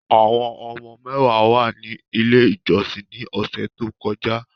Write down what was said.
Awọn ọmọ mẹwa wa ni ile ijọsin ni ọsẹ to kọja